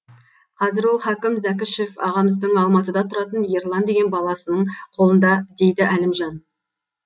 қазір ол хакім зәкішев ағамыздың алматыда тұратын ерлан деген баласының қолында дейді әлімжан